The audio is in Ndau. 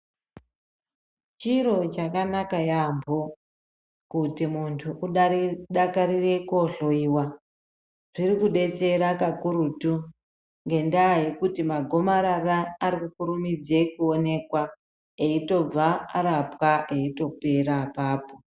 Chiro chakanaaka yaamho kuti muntu adakarire kohloyiwa ,zvirikudetsera kakurutu ngendaa yekuti magomarara arikukurumidze kuonekwa eitobva arapwa eitopera apapo.